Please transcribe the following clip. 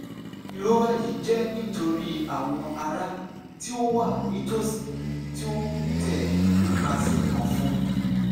irora yii jẹ nitori awọn ara ti o wa nitosi ti o n tẹ nipasẹ ọfun